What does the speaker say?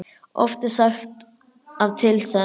Oft er sagt að til þess